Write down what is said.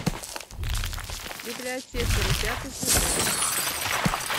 библиотекари пятый сезон